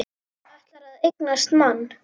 Ætlar að eignast mann.